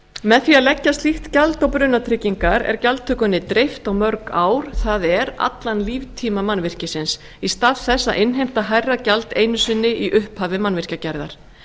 með því að leggja slíkt gjald á brunatryggingar er gjaldtökunni dreift á mörg ár það er allan líftíma mannvirkisins í stað þess að innheimta hærra gjald einu sinni í upphafi mannvirkjagerðar